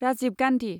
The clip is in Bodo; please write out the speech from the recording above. राजिब गान्धी